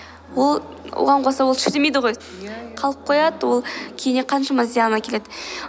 ол оған қоса ол шірімейді ғой иә қалып қояды ол кейінен қаншама зиян әкеледі